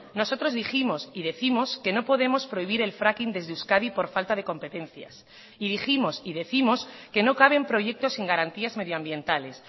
nosotros dijimos y décimos que no podemos prohibir el fracking desde euskadi por falta de competencias y dijimos y décimos que no caben proyectos sin garantías medioambientales